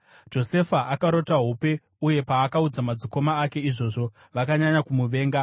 Josefa akarota hope, uye paakaudza madzikoma ake izvozvo, vakanyanya kumuvenga.